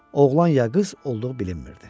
Oğlan ya qız olduğu bilinmirdi.